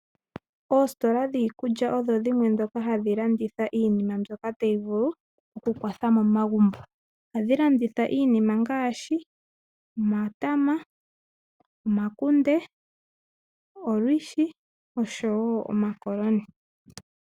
Oostola dhiikulya odho dhimwe ndhoka hadhi landitha iinima mbyoka tayi vulu oku kwatha momagumbo. Ohadhi landitha iinima ngaashi omatama, omakunde, olwishi osho woo omakoloni.